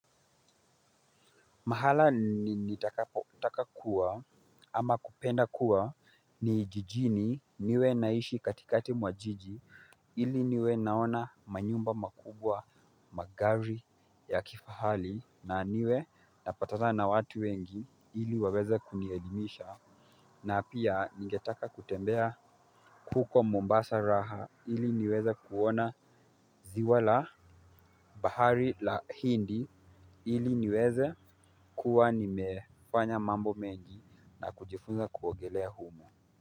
Mahala nitakakuwa ama kupenda kuwa ni jijini niwe naishi katikati mwa jiji ili niwe naona manyumba makubwa magari ya kifahali na niwe napatana na watu wengi ili waweze kunielimisha na pia ningetaka kutembea huko Mombasa raha ili niweze kuona ziwa la bahari la hindi ili niweze kuwa nimefanya mambo mengi na kujifunza kuogelea humo.